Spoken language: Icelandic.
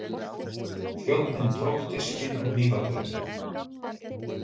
Þjónninn tók diskinn og hnífapörin.